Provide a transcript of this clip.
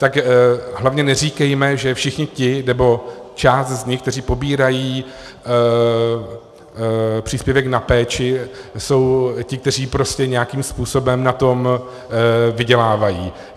Tak hlavně neříkejme, že všichni ti, nebo část z nich, kteří pobírají příspěvek na péči, jsou ti, kteří prostě nějakým způsobem na tom vydělávají.